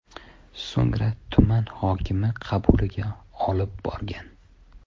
So‘ngra tuman hokimi qabuliga olib borgan.